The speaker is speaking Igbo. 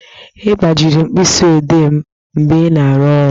Ị gbajiri mkpịsị odee m mgbe ị na-aru ọrụ